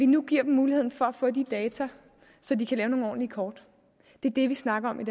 nu giver dem muligheden for at få de data så de kan lave nogle ordentlige kort det er det vi snakker om